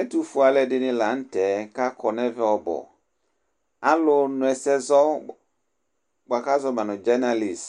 ɛtufue alò ɛdini lantɛ k'akɔ n'ɛvɛ ɔbu alò no ɛsɛ zɔ boa k'azɔ ma no dzɛnalis